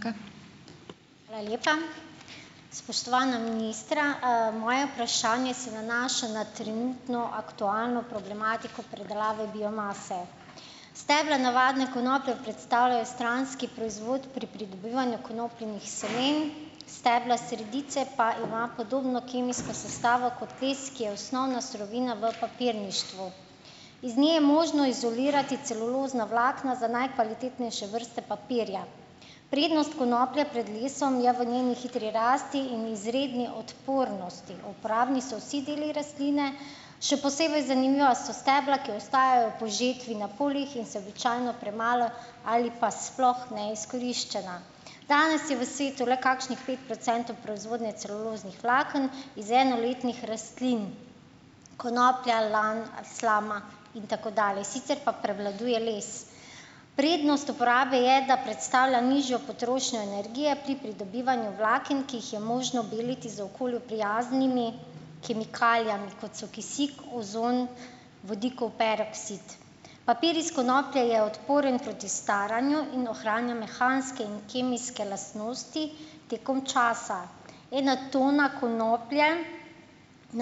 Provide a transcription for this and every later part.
Hvala lepa. Spoštovana ministra! Moje vprašanje se nanaša na trenutno aktualno problematiko predelave biomase. Stebla navadne konoplje predstavljajo stranski proizvod pri pridobivanju konopljinih semen, stebla sredice pa imajo podobno kemijsko sestavo kot les, ki je osnovna surovina v papirništvu. Iz nje je možno izolirati celulozna vlakna za najkvalitetnejše vrste papirja. Prednost konoplje pred lesom je v njeni hitri rasti in izredni odpornosti. Uporabni so vsi deli rastline, še posebej zanimiva so stebla, ki ostajajo po žetvi na poljih in se običajno premalo, ali pa sploh neizkoriščena. Danes je v svetu le kakšnih pet procentov proizvodnje celuloznih vlaken iz enoletnih rastlin: konoplje, lanu, slame in tako dalje, sicer pa prevladuje les. Prednost uporabe je, da predstavlja nižjo potrošnjo energije pri pridobivanju vlaken, ki jih je možno beliti z okolju prijaznimi kemikalijami, kot so kisik, ozon, vodikov peroksid. Papir iz konoplje je odporen proti staranju in ohranja mehanske in kemijske lastnosti tekom časa. Ena tona konoplje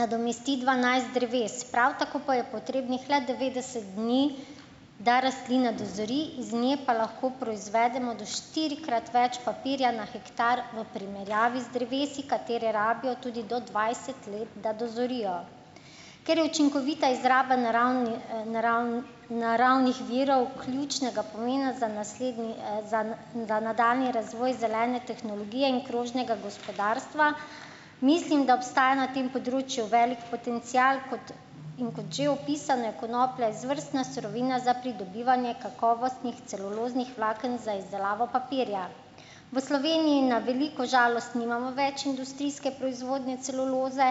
nadomesti dvanajst dreves, prav tako pa je potrebnih le devetdeset dni, da rastlina dozori, iz nje pa lahko proizvedemo do štiri- krat več papirja na hektar v primerjavi z drevesi, katera rabijo tudi do dvajset let, da dozorijo. Ker je učinkovita izraba naravnih virov ključnega pomena za naslednji, za za nadaljnji razvoj zelene tehnologije in krožnega gospodarstva, mislim, da obstaja na tem področju velik potencial. Kot in kot že opisano, je konoplja izvrstna surovina za pridobivanje kakovostnih celuloznih vlaken za izdelavo papirja. V Sloveniji na veliko žalost nimamo več industrijske proizvodnje celuloze,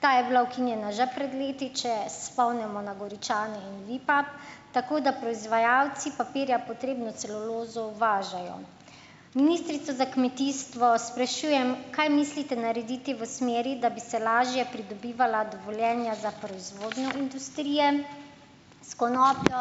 ta je bila ukinjena že pred leti, če se spomnimo na Goričane in Vipap, tako da proizvajalci papirja potrebno celulozo uvažajo. Ministrico za kmetijstvo sprašujem, kaj mislite narediti v smeri, da bi se lažje pridobivala dovoljenja za proizvodnjo industrije s konopljo.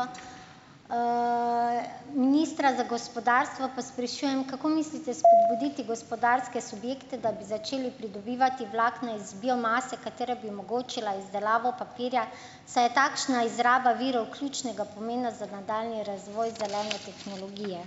Ministra za gospodarstvo pa sprašujem, kako mislite spodbuditi gospodarske subjekte, da bi začeli pridobivati vlakna iz biomase, katera bi omogočila izdelavo papirja, saj je takšna izraba virov ključnega pomena za nadaljnji razvoj zelene tehnologije.